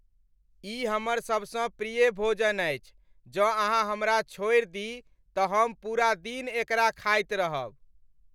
ई हमर सबसँ प्रिय भोजन अछि, जँ अहाँ हमरा छोड़ि दी तँ हम पूरा दिन एकरा खाइत रहब ।